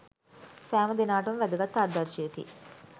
සෑම දෙනාටම වැදගත් ආදර්ශයකි.